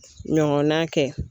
Ɲɔgɔnna kɛ.